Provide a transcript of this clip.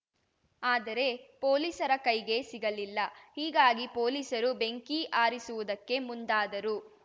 ಆದರೆ ಪೊಲೀಸರ ಕೈಗೆ ಸಿಗಲಿಲ್ಲ ಹೀಗಾಗಿ ಪೊಲೀಸರು ಬೆಂಕಿ ಆರಿಸುವುದಕ್ಕೆ ಮುಂದಾದರು